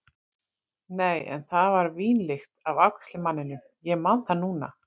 Nei, en það var vínlykt af afgreiðslumanninum, ég man það núna.